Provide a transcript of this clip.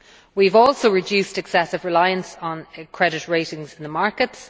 We have also reduced excessive reliance on credit ratings in the markets.